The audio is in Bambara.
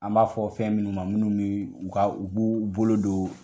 An b'a fɔ fɛn minnu ma minnu bɛ u ka u b'u bolo don.